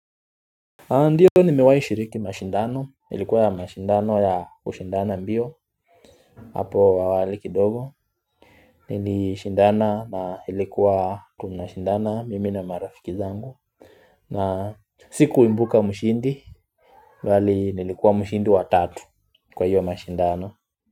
Ndiyo nimewai shiriki mashindano ilikuwa mashindano ya kushindana mbio hapo awali kidogo nilishindana na ilikuwa tunashindana mimi na marafiki zangu na sikuimbuka mshindi bali nilikuwa mshindi wa tatu kwa hiyo mashindano.